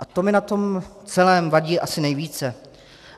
A to mi na tom celém vadí co nejvíce.